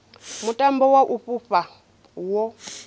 mutambo wa u fhufha wo